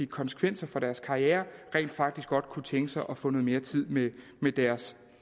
konsekvenser for deres karriere rent faktisk godt kunne tænke sig at få noget mere tid med deres